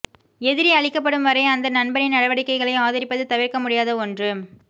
எதிரி அழிக்கப்படும் வரை அந்த நண்பனின் நடவடிக்கைகளை ஆதரிப்பது தவிரக்க முடியாத ஒள்று